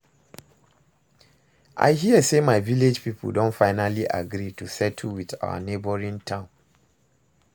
I hear say my village people don finally agree to settle with our neighboring town